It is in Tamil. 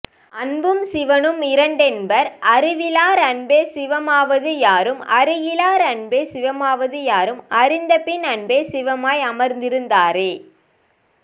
அன்பும் சிவமும் இரண்டென்பர் அறிவிலார் அன்பே சிவமாவது யாரும் அறிகிலார் அன்பே சிவமாவது யாரும் அறிந்தபின் அன்பே சிவமாய் அமர்ந்திருந்தாரே